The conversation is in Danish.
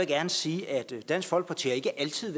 gerne sige at dansk folkeparti ikke altid